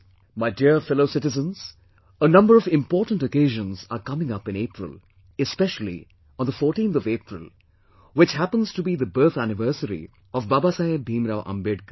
My dear fellow citizens, a number of important occasions are coming up in April, especially on 14th of April which happens to be the birth anniversary of Baba Saheb Bhimrao Ambedkar